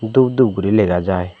dup dup guri lega jai.